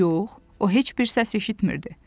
Yox, o heç bir səs eşitmirdi.